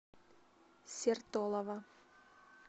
сертолово